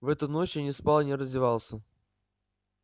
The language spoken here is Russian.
в эту ночь я не спал и не раздевался